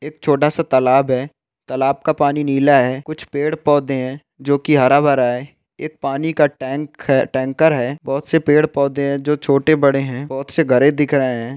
एक छोटा तालाब है तालाब का पानी नीला है कुछ पैड पौधे है जो की हरा भरा एक पानी का टैंक टैंकर है बहुत से पैड पौधे है जो छोटे बड़े है बहोत से घड़े दिख रहे हैं।